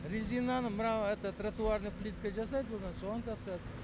резинаны мына это тратуарный плитка жасайды одан соған тапсырад